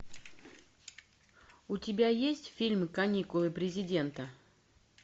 у тебя есть фильм каникулы президента